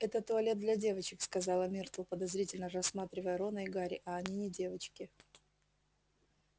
это туалет для девочек сказала миртл подозрительно рассматривая рона и гарри а они не девочки